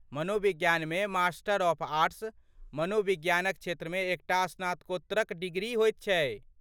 मनोविज्ञानमे master of arts, मनोविज्ञानक क्षेत्रमे एकटा स्नातकोत्तरक डिग्री होयत छै।